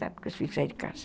Porque os filhos saem de casa.